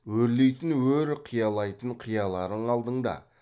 өрлейтін өр қиялайтын қияларың алдыңда